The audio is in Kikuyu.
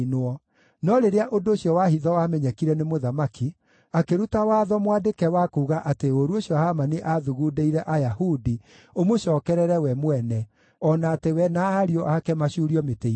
No rĩrĩa ũndũ ũcio wa hitho wamenyekire nĩ mũthamaki, akĩruta watho mwandĩke wa kuuga atĩ ũũru ũcio Hamani aathugundĩire Ayahudi ũmũcookerere we mwene, o na atĩ we na ariũ ake macuurio mĩtĩ-igũrũ.